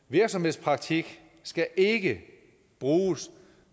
virksomhedspraktik skal ikke bruges